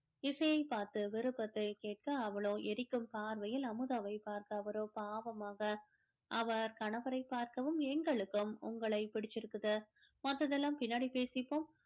இசையைப் பார்த்து விருப்பத்தைக் கேட்க அவளோ எரிக்கும் பார்வையில் அமுதாவைப் பார்த்த அவரோ பாவமாக அவர் கணவரை பார்க்கவும் எங்களுக்கும் உங்களை பிடிச்சிருக்குது மத்ததெல்லாம் பின்னாடி பேசிப்போம்